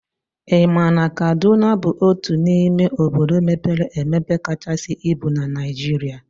I ma na Kaduna bụ otu n'ime obodo mepere emepe kachasị ibu na Naijiria?